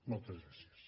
moltes gràcies